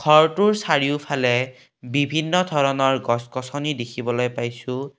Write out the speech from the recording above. ঘৰটোৰ চাৰিওফালে বিভিন্ন ধৰণৰ গছ গছনি দেখিবলৈ পাইছোঁ।